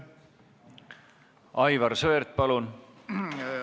Aivar Sõerd, palun!